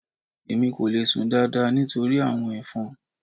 Èmi kò le sùn dáadáa nítorí àwọn ẹ̀fọn.